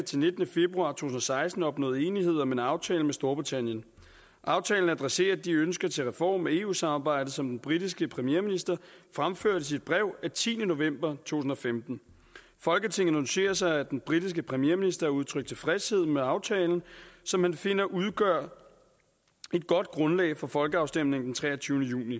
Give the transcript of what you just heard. nitten februar tusind og seksten opnået enighed om en aftale med storbritannien aftalen adresserer de ønsker til reform af eu samarbejdet som den britiske premierminister fremførte i sit brev af tiende november to tusind og femten folketinget noterer sig at den britiske premierminister har udtrykt tilfredshed med aftalen som han finder udgør et godt grundlag for folkeafstemningen den treogtyvende juni